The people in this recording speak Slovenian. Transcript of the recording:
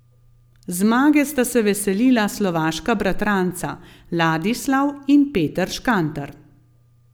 Zmage sta se veselila slovaška bratranca Ladislav in Peter Škantar.